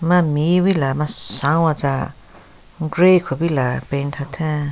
Ma mewi laa masan watsa grey kupila paint hatheng.